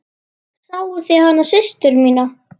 Sáuð þið hana systur mína.